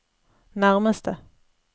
nærmeste